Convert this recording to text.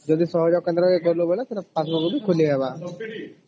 ଯଦି ସହଲା କେନ୍ଦ୍ର ଗଲୁ ବେଳେ ସେଟ passbook ତ ଖୋଲି ହେବା